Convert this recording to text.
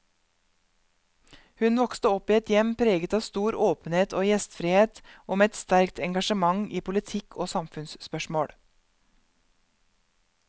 Hun vokste opp i et hjem preget av stor åpenhet og gjestfrihet, og med et sterkt engasjement i politikk og samfunnsspørsmål.